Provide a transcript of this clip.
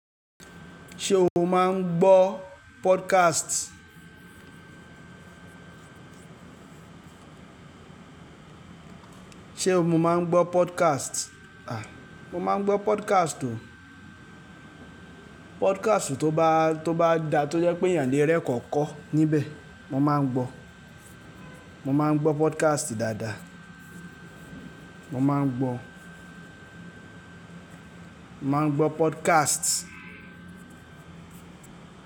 Ṣé o máa ń gbọ́ podcast? Ṣé o máa ń gbọ́ podcast? À, mo máa ń gbọ́ podcast o. Podcast tó bá, tó bá dá tó jẹ́ pé ẹ̀yàn lé ẹrẹ̀kọ̀ọ́ kọ́ níbẹ̀, mo máa ń gbọ́. Mo máa ń gbọ́ podcast dáadáa. Mo máa ń gbọ́, mó máa ń gbọ́ podcast.